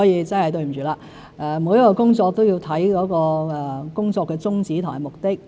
真的對不起，每一項工作都要看其宗旨和目的。